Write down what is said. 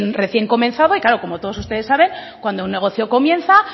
recién comenzaba y claro como todos ustedes saben cuando un negocio comienza